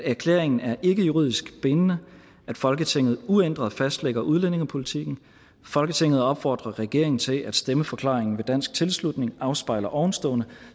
erklæringen er ikke juridisk bindende og folketinget uændret fastlægger udlændingepolitikken folketinget opfordrer regeringen til at stemmeforklaringen ved dansk tilslutning afspejler ovenstående